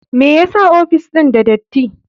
Me yasa ofis ɗin da dati?